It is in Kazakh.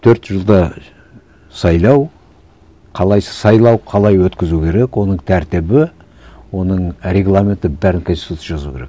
төрт жылда сайлау қалай сайлау қалай өткізу керек оның тәртібі оның регламенті бәрін конституцияда жазу керек